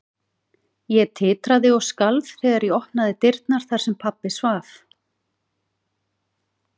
Ég titraði og skalf þegar ég opnaði dyrnar þar sem pabbi svaf.